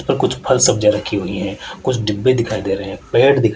और कुछ फल सब्जियां रखी हुई हैं कुछ डिब्बे दिखाई दे रहे हैं पेड़ दिख--